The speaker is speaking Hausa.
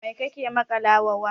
Mai kake maƙalawa wa?